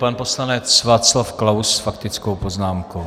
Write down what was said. Pan poslanec Václav Klaus s faktickou poznámkou.